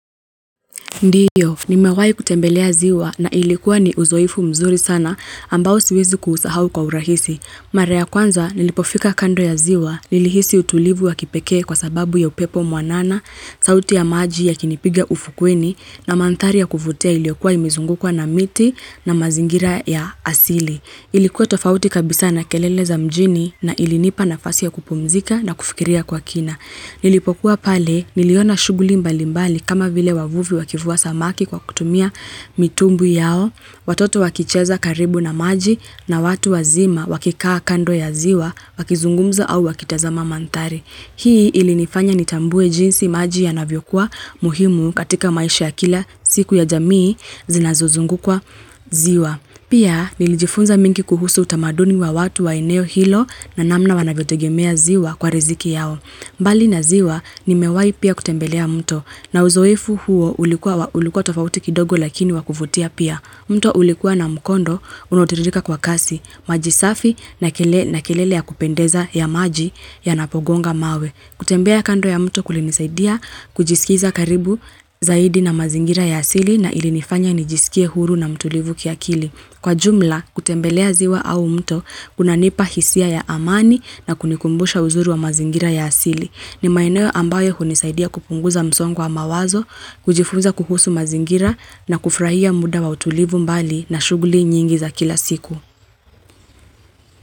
Ndiyo, nimewahi kutembelea ziwa na ilikuwa ni uzoefu mzuri sana, ambao siwezi kuusahau kwa urahisi. Mara ya kwanza, nilipofika kando ya ziwa, nilihisi utulivu wa kipekee kwa sababu ya upepo mwanana, sauti ya maji yakinipiga ufukweni na mandhari ya kuvutia iliyokuwa imezungukwa na miti na mazingira ya asili. Ilikuwa tofauti kabisa na kelele za mjini na ilinipa nafasi ya kupumzika na kufikiria kwa kina. Nilipokuwa pale, niliona shughuli mbalimbali kama vile wavuvi wakivua samaki kwa kutumia mitumbwi yao, watoto wakicheza karibu na maji na watu wazima wakikaa kando ya ziwa wakizungumza au wakitazama mandhari. Hii ilinifanya nitambue jinsi maji yanavyokuwa muhimu katika maisha kila siku ya jamii zinazozunguka ziwa. Pia, nilijifunza mengi kuhusu utamaduni wa watu wa eneo hilo na namna wanavyotegemea ziwa kwa riziki yao. Mbali na ziwa, nimewahi pia kutembelea mto na uzoefu huo ulikuwa tofauti kidogo lakini wa kuvutia pia. Mto ulikuwa na mkondo, unaotiririka kwa kasi, maji safi na kelele ya kupendeza ya maji yanapogonga mawe. Kutembea kando ya mto kulinisaidia kujisikiza karibu zaidi na mazingira ya asili na ilinifanya nijisikie huru na mtulivu kiakili. Kwa jumla, kutembelea ziwa au mto kunanipa hisia ya amani na kunikumbusha uzuri wa mazingira ya asili. Ni maeneo ambayo hunisaidia kupunguza msongo wa mawazo, kujifunza kuhusu mazingira na kufurahia muda wa utulivu mbali na shughuli nyingi za kila siku.